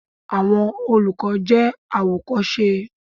Àwọn olùkọ́ jẹ́ àwòkọ́ṣe.